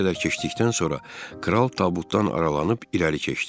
Bir qədər keçdikdən sonra kral tabutdan aralanıb irəli keçdi.